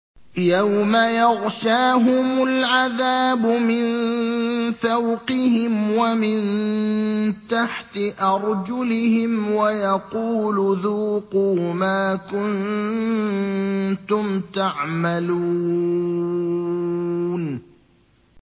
يَوْمَ يَغْشَاهُمُ الْعَذَابُ مِن فَوْقِهِمْ وَمِن تَحْتِ أَرْجُلِهِمْ وَيَقُولُ ذُوقُوا مَا كُنتُمْ تَعْمَلُونَ